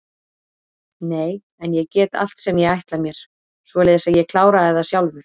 Nei en ég get allt sem ég ætla mér, svoleiðis að ég kláraði það sjálfur.